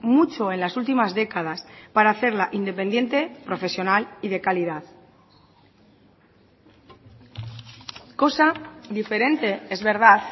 mucho en las últimas décadas para hacerla independiente profesional y de calidad cosa diferente es verdad